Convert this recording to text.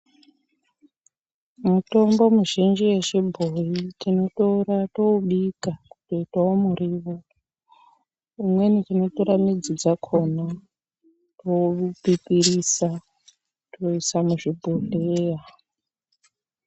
Mitombo mizhinji yechibhoyi tinotora toobika kuitawo miriwo imweni tinotora midzi dzakona toipipirisa toisa muzvibhodhleya.